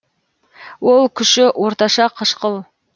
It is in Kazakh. ол күші орташа қышқыл